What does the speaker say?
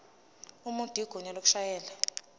umuntu igunya lokushayela